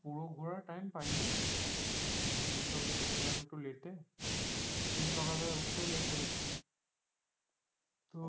পুরো ঘোরার time পায়নি আমি তো গেছিলাম একটু late এ সেই দিন সকাল বেলা উঠতেও late হয়ে গেছিল তো